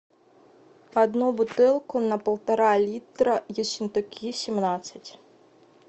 одну бутылку на полтора литра ессентуки семнадцать